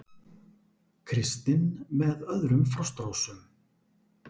Kristinn með öðrum Frostrósum